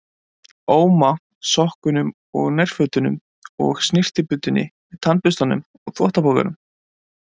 Óma, sokkunum og nærfötunum og snyrtibuddunni með tannburstanum og þvottapokanum.